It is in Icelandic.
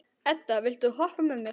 Edda, viltu hoppa með mér?